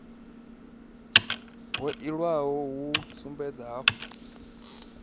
ha iwalo hu sumbedza hafhu